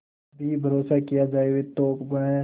भी भरोसा किया जाए तो वह